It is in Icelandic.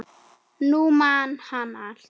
Nú man hann allt.